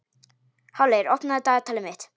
Háleygur, opnaðu dagatalið mitt.